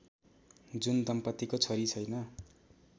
जुन दम्पतीको छोरी छैन